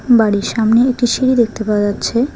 বাড়ির সামনে একটি সিঁড়ি দেখতে পাওয়া যাচ্ছে।